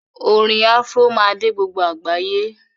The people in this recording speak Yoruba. Orin Afro má dé gbogbo àgbáyé